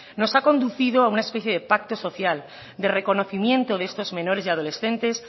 nos ha conducido a una especie de pacto social de reconocimiento de estos menores y adolescentes